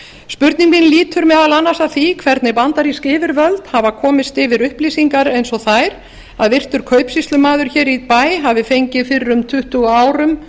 spurning mín lýtur meðal annars að því hvernig bandarísk yfirvöld hafa komist yfir upplýsingar eins og þær að virtur kaupsýslumaður hér í bæ hafi fengið fyrir tuttugu árum